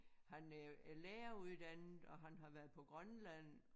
Han øh er læreruddannet og han har været på Grønland